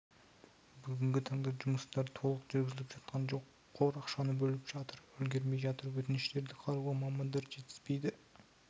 бүгінгі таңда жұмыстар толық жүргізіліп жатқан жоқ қор ақшаны бөліп үлгермей жатыр өтініштерді қарауға мамандар жетіспейді